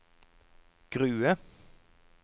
Grue